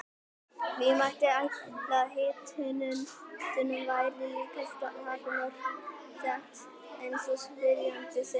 Því mætti ætla að hitanum væri líka takmörk sett eins og spyrjandi segir.